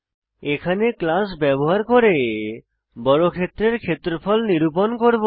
এখানে আমরা ক্লাস ব্যবহার করে বর্গক্ষেত্রের ক্ষেত্রফল নিরূপণ করব